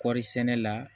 Kɔɔrisɛnɛ la